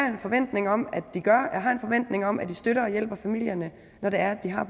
en forventning om de gør jeg har en forventning om at de støtter og hjælper familierne når det er at de har